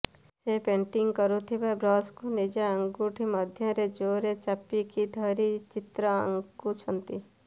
ସେ ପେଣ୍ଟିଂ କରୁଥିବା ବ୍ରଶକୁ ନିଜ ଆଙ୍ଗୁଠି ମଧ୍ୟରେ ଜୋରେ ଚାପିକି ଧରି ଚିତ୍ର ଆଙ୍କୁଛନ୍ତି